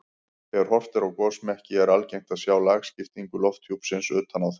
Þegar horft er á gosmekki er algengt að sjá lagskiptingu lofthjúpsins utan á þeim.